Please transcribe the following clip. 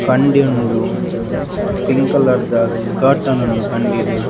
ಕಂಡಿ ಉಂಡು ಪಿಂಕ್ ಕಲರ್ದ ಕರ್ಟನ್ ಉಂಡು ಕಂಡಿಡ್.